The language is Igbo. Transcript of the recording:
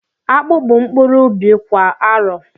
Akpu bụ mkpụrụ ubi kwa arọ